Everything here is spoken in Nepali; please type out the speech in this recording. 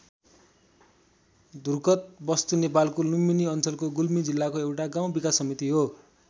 धुरकोत वस्तु नेपालको लुम्बिनी अञ्चलको गुल्मी जिल्लाको एउटा गाउँ विकास समिति हो।